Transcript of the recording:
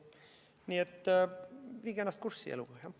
Nii et viige ennast eluga kurssi.